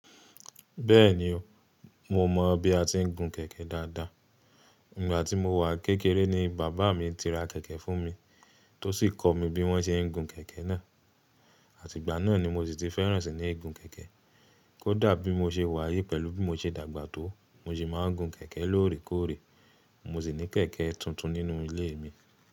Bẹ́ẹ̀ni o, mo mọ bí a ti ń gun kẹ̀kẹ́ dáadáa. Ìgbà tí mo wà n kékeré ni bàbá mi ti ra kẹ̀kẹ́ fún mi, tó sì kọ́ mi bí wọ́n ṣe ń gun kẹ̀kẹ́ náà. Àtìgbà náà ni mo sì ti fẹ́ràn sì ní gun kẹ̀kẹ́. Kódà bí mo ṣe wáyé pẹ̀lú bí mo ṣe dàgbà tó, mo sì máa ń gun kẹ̀kẹ́ lóòrèkóòrè. Mo sì ní kẹ̀kẹ́ tuntun nínú ilé mi.